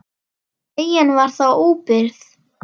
Eyjan var þá óbyggð.